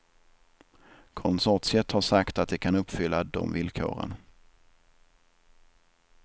Konsortiet har sagt att det kan uppfylla de vilkoren.